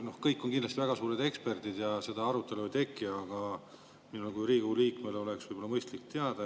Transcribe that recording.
Komisjonis on kindlasti kõik väga suured eksperdid ja seda arutelu ei teki, aga minul kui Riigikogu liikmel oleks võib-olla mõistlik teada.